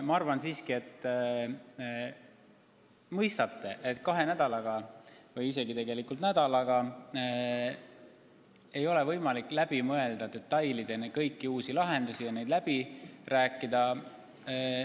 Ma arvan siiski, et te mõistate, et kahe nädalaga või isegi tegelikult nädalaga ei ole võimalik detailideni läbi mõelda võimalikke uusi lahendusi ja neid läbi rääkida.